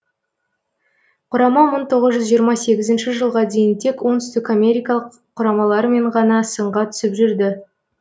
құрама мың тоғыз жүз жиырма сегізінші жылға дейін тек оңтүстік америкалық құрамалармен ғана сынға түсіп жүрді